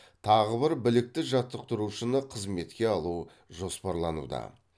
тағы бір білікті жаттықтырушыны қызметке алу жоспарлануда